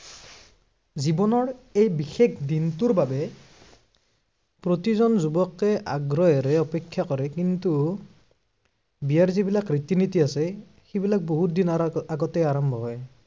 জীৱনৰ এই বিশেষ দিনটোৰ বাবে প্ৰতিজন যুৱকেই আগ্ৰহেৰে অপেক্ষা কৰে, কিন্তু বিয়াৰ যিবিলাক ৰীতি নীতি আছে, সেইবিলাক বহুদিনৰ আগআগতেই আৰম্ভ হয়।